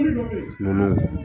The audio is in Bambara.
Yiri dɔ bɛ yen,